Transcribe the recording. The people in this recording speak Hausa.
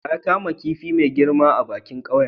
Wa ya kama kifin mafi girma a bikin ƙauyen?